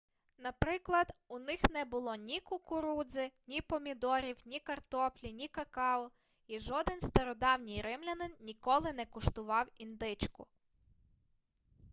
наприклад у них не було ні кукурудзи ні помідорів ні картоплі ні какао і жоден стародавній римлянин ніколи не куштував індичку